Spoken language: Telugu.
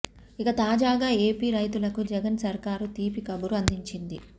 ఇక తాజగా ఏపీ రైతులకు జగన్ సర్కారు తీపి కబురు అందించింది